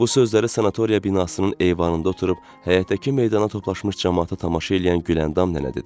Bu sözləri sanatoriya binasının eyvanında oturub həyətdəki meydana toplaşmış camaata tamaşa eləyən Güləndam nənə dedi.